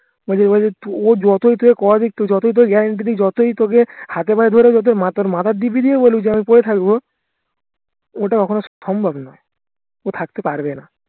ও যেভাবে ও যতই তোকে কথা দিক যতই তোকে guarantee দিক যতই তোকে হাতে পায়ে ধরুক তোর মাথার দিব্যি দিয়েও বলুক যে আমি পরে থাকবো ওটা কখনো সম্ভব নয় ও থাকতে পারবেনা